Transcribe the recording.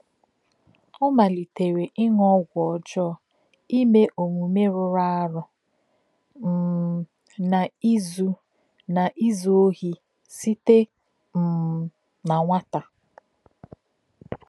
Ọ malitere íṅụ ọgwụ ọ̀jọọ, íme omume rụrụ arụ, um na ízù na ízù òhì site um na nwátà.